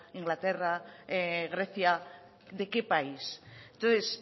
inglaterra grecia de qué país entonces